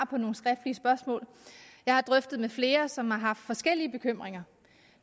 på nogle skriftlige spørgsmål jeg har drøftet det med flere som har haft forskellige bekymringer